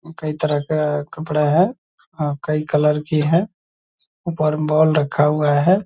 कई तरह का कपड़ा है। अ कई कलर की है। ऊपर में बॉल रखा हुआ है।